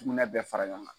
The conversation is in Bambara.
Sugunɛ bɛ fara ɲɔgɔn kan